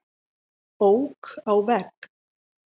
Ók á vegg